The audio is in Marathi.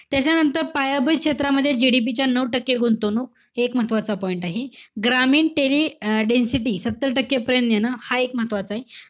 त्याच्यानंतर, पायाभूत क्षेत्रामध्ये GDP च्या नऊ टक्के गुंतवणूक. हे एक महत्वाचा point आहे. ग्रामीण टेरी अं density, सत्तर टक्के पर्यंत नेणं. हा एक महत्वाचायं.